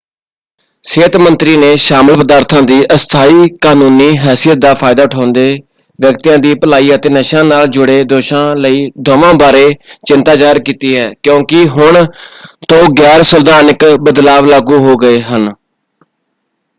ਸਿਹਤ ਮੰਤਰੀ ਨੇ ਸ਼ਾਮਲ ਪਦਾਰਥਾਂ ਦੀ ਅਸਥਾਈ ਕਾਨੂੰਨੀ ਹੈਸੀਅਤ ਦਾ ਫਾਇਦਾ ਉਠਾਉਂਦੇ ਵਿਅਕਤੀਆਂ ਦੀ ਭਲਾਈ ਅਤੇ ਨਸ਼ਿਆਂ ਨਾਲ ਜੁੜੇ ਦੋਸ਼ਾਂ ਲਈ ਦੋਵਾਂ ਬਾਰੇ ਚਿੰਤਾ ਜ਼ਾਹਰ ਕੀਤੀ ਹੈ ਕਿਉਂਕਿ ਹੁਣ ਤੋਂ ਗੈਰ-ਸੰਵਿਧਾਨਕ ਬਦਲਾਅ ਲਾਗੂ ਹੋ ਗਏ ਹਨ।